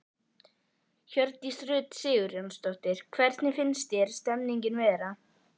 Hjördís Rut Sigurjónsdóttir: Hvernig finnst þér stemningin vera?